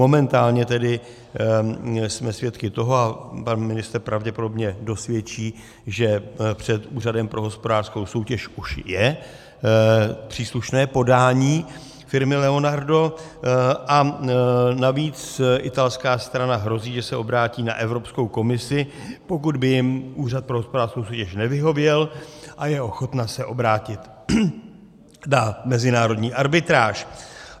Momentálně tedy jsme svědky toho, a pan ministr pravděpodobně dosvědčí, že před Úřadem pro hospodářskou soutěž už je příslušné podání firmy Leonardo, a navíc italská strana hrozí, že se obrátí na Evropskou komisi, pokud by jim Úřad pro hospodářskou soutěž nevyhověl, a je ochotna se obrátit na mezinárodní arbitráž.